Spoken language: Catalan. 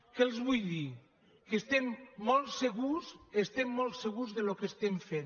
què els vull dir que estem molt segurs estem molt segurs del que estem fent